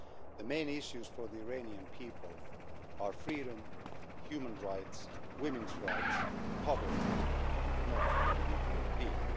The main issues for the Iranian people are freedom, human rights, women's rights, poverty and not the nuclear deal.